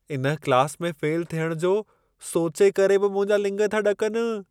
इन क्लास में फ़ेल थियणु जो सोचे करे बि मुंहिंजा लिङ था ॾकनि।